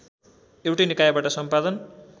एउटै निकायबाट सम्पादन